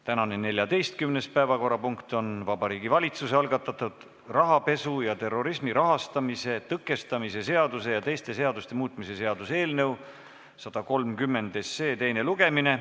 Tänane 14. päevakorrapunkt on Vabariigi Valitsuse algatatud rahapesu ja terrorismi rahastamise tõkestamise seaduse ja teiste seaduste muutmise seaduse eelnõu 130 teine lugemine.